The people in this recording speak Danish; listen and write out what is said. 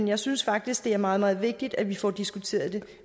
jeg synes faktisk det er meget meget vigtigt at vi får diskuteret det